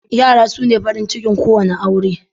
Yara sune farin cikin ko wanna aure.